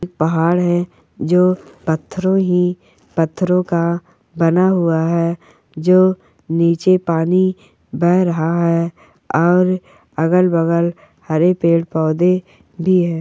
पहाड़ है जो पत्थर है पत्थरो का बना हुआ है जो नीचे बेहेरा है और अगल बगल हरे पेड़ पौधे भी है।